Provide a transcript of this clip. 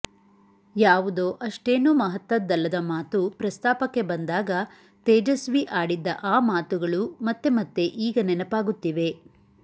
ಯಾವುದೋ ಅಷ್ಟೇನೂ ಮಹತ್ತದ್ದಲ್ಲದ ಮಾತು ಪ್ರಸ್ತಾಪಕ್ಕೆ ಬಂದಾಗ ತೇಜಸ್ವಿ ಆಡಿದ್ದ ಆ ಮಾತುಗಳು ಮತ್ತೆ ಮತ್ತೆ ಈಗ ನೆನಪಾಗುತ್ತಿವೆ